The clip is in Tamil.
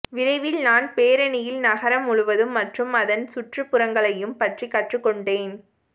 விரைவில் நான் பேரணியில் நகரம் முழுவதும் மற்றும் அதன் சுற்றுப்புறங்களையும் பற்றி கற்றுக்கொண்டேன்